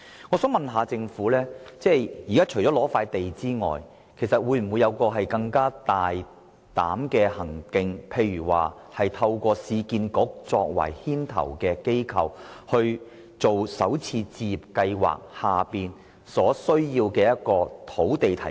我想詢問政府，除了撥出土地，當局會否有更加大膽的舉措，例如由市區重建局擔當牽頭的角色，提供推行首次置業計劃所需要的土地？